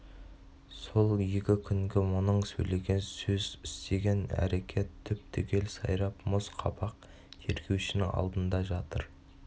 сол екі күнгі мұның сөйлеген сөз істеген әрекет түп-түгел сайрап мұз қабақ тергеушінің алдында жатыр